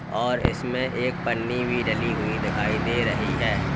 और इसमें एक पन्नी भी डली हुई दिखाई दे रही है।